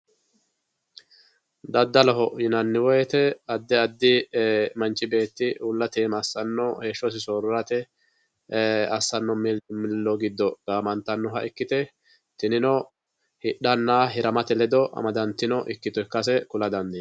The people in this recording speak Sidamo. daddaloho yinanni woyiite addi addi manchi beeti uullate iima assanno heeshshosi soorirate assanno milimillo giddo gaamantannoha ikkite tinino hidhanna hiramate ledo amadantino ikkito ikkase kula dandiinayi.